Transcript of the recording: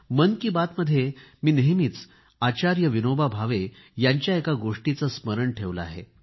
मन की बातमध्ये मी नेहमीच आचार्य विनोबा भावे यांच्या एका गोष्टीचे स्मरण ठेवले आहे